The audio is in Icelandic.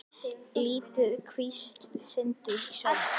Lítil kvísl sindraði í sólinni.